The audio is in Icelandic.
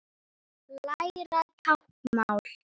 Læra táknmál